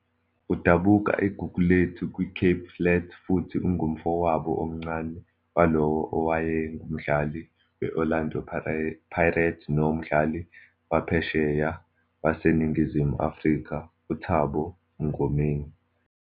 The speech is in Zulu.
Udabuka eGugulethu kwiCape Flats futhi ungumfowabo omncane walowo owayengumdlali we-Orlando Pirates nomdlali waphesheya waseNingizimu Afrika uThabo Mngomeni.